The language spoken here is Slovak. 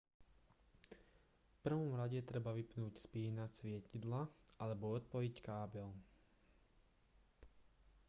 v prvom rade treba vypnúť spínač svietidla alebo odpojiť kábel